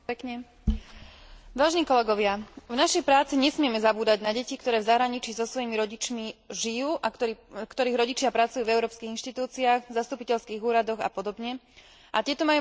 V našej práci nesmieme zabúdať na deti, ktoré v zahraničí so svojimi rodičmi žijú a ktorých rodičia pracujú v európskych inštitúciách, v zastupiteľských úradoch a podobne, a tieto majú možnosť študovať na európskych školách.